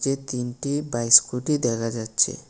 তিনটি bike scooty দেখা যাচ্ছে।